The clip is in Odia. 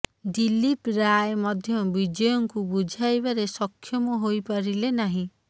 ଦିଲ୍ଲୀପ ରାୟ ମଧ୍ୟ ବିଜୟଙ୍କୁ ବୁଝାଇବାରେ ସକ୍ଷମ ହୋଇପାରିଲେ ନାହିଁ